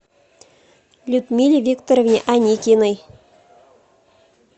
людмиле викторовне аникиной